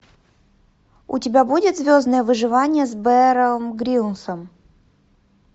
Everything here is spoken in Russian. у тебя будет звездное выживание с беаром гриллсом